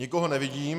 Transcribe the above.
Nikoho nevidím.